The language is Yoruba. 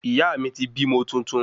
Iyaami ti bímo tuntun